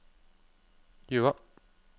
Jøa